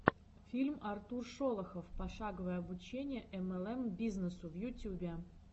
фильм артур шолохов пошаговое обучение млм бизнесу в ютюбе